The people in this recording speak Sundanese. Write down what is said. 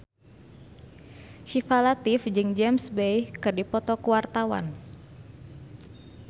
Syifa Latief jeung James Bay keur dipoto ku wartawan